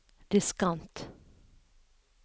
diskant